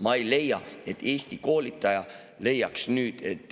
Ma ei arva, et Eesti koolitaja leiaks, et